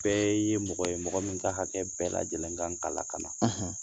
Bɛɛ ye mɔgɔ ye mɔgɔ min ka hakɛ bɛɛ lajɛlen kan ka lakana